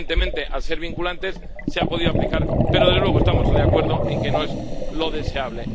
Evidentemente, al ser vinculantes, se han podido aplicar, pero, desde luego, estamos de acuerdo en que no es lo deseable.